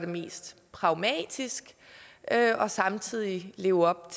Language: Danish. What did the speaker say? mest pragmatisk og samtidig leve op